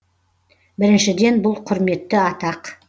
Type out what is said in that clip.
біріншіден бұл құрметті атақ